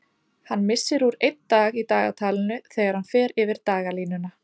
Hann missir úr einn dag í dagatalinu þegar hann fer yfir dagalínuna.